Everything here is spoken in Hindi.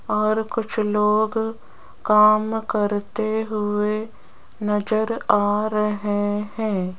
और कुछ लोग काम करते हुए नजर आ रहे हैं।